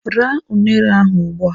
Raa unere ahụ ugbu a!